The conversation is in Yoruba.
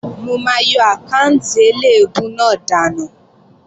Mò máa yọ àkáànti eléèbú náà dànù